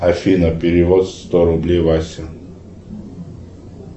афина перевод сто рублей васе